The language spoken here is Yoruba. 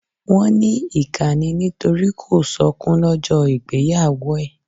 Wọn ní ìkà ni nítorí kò sọkún lọ́jọ́ ìgbéyàwó ẹ̀.